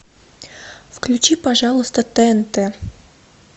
включи пожалуйста тнт